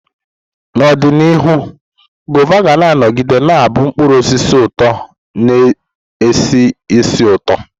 N'ọdịnihu, Guava ga-anọgide na-abụ mkpụrụ osisi ụtọ na-esi ísì ụtọ.